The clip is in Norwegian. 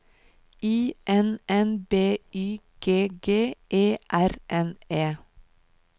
I N N B Y G G E R N E